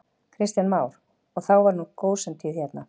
Kristján Már: Og þá var nú gósentíð hérna?